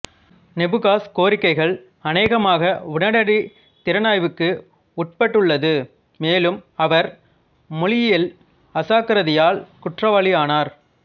நேபுகாஸ் கோரிக்கைகள் அநேகமாக உடனடி திறனாய்வுக்கு உட்பட்டுள்ளது மேலும் அவர் மொழியியல் அசாக்கிரதையால் குற்றவாளியானார்